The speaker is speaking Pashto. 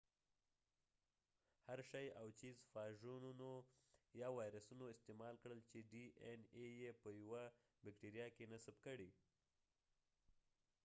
هرشي او چېس فاژونو یا وایرسونه استعمال کړل چې ډي این اې يې په یوه بېکټیریا کې نصب کړي